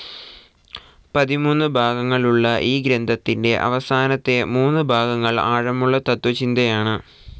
പതിമൂന്നു ഭാഗങ്ങളുള്ള ഈ ഗ്രന്ഥത്തിന്റെ അവസാനത്തെ മൂന്നു ഭാഗങ്ങൾ ആഴമുള്ള തത്ത്വചിന്തയാണ്.